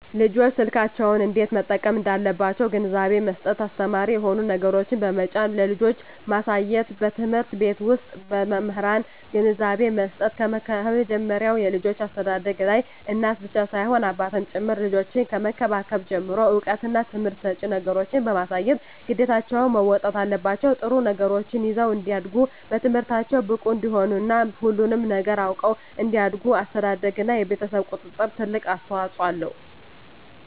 ልጆች ስልኮችን እንዴት መጠቀም እንዳለባቸዉ ግንዛቤ መስጠት አስተማሪ የሆኑ ነገሮችን በመጫን ለልጆች ማሳየትበትምህርት ቤት ዉስጥ በመምህራን ግንዛቤ መስጠት ከመጀመሪያዉ የልጆች አስተዳደግላይ እናት ብቻ ሳትሆን አባትም ጭምር ልጆችን ከመንከባከብ ጀምሮ እዉቀትና ትምህርት ሰጭ ነገሮችን በማሳየት ግዴታቸዉን መወጣት አለባቸዉ ጥሩ ነገሮችን ይዘዉ እንዲያድጉ በትምህርታቸዉ ብቁ እንዲሆኑ እና ሁሉንም ነገር አዉቀዉ እንዲያድጉ አስተዳደርግ እና የቤተሰብ ቁጥጥር ትልቅ አስተዋፅኦ አለዉ